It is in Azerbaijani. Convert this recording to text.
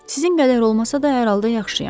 Sizin qədər olmasa da hər halda yaxşıyam.